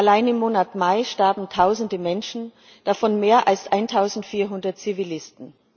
allein im Monat Mai starben Tausende Menschen, davon mehr als 1400 Zivilisten.